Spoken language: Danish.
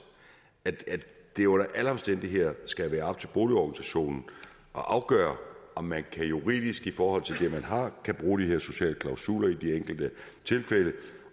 at det under alle omstændigheder skal være op til boligorganisationen at afgøre om man juridisk i forhold til det man har kan bruge de her sociale klausuler i de enkelte tilfælde